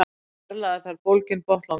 Fjarlægja þarf bólginn botnlanga.